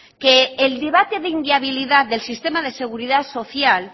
que el debata de inviabilidad del sistema de seguridad social